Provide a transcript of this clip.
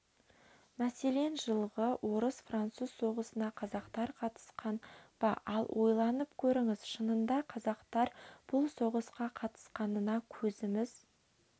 мәселен жылғы орыс-француз соғысына қазақтар қатысқан ба ал ойланып көріңіз шынында қазақтар бұл соғысқа қатысқанына көзіміз